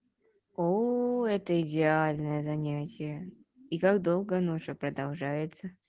оо это идеальное занятие и как долго оно уже продолжается